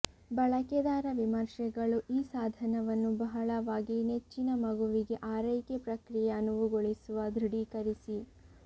ಬಳಕೆದಾರ ವಿಮರ್ಶೆಗಳು ಈ ಸಾಧನವನ್ನು ಬಹಳವಾಗಿ ನೆಚ್ಚಿನ ಮಗುವಿಗೆ ಆರೈಕೆ ಪ್ರಕ್ರಿಯೆ ಅನುವುಗೊಳಿಸುವ ದೃಢೀಕರಿಸಿ